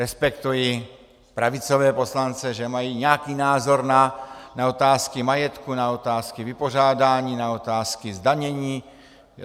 Respektuji pravicové poslance, že mají nějaký názor na otázky majetku, na otázky vypořádání, na otázky zdanění.